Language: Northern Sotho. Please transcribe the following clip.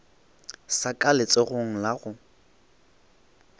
sa ka letsogong la go